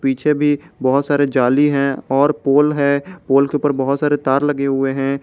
पीछे भी बहुत सारे जाली हैं और पोल हैं और पोल के ऊपर बहुत सारे तार लगे हुए हैं ।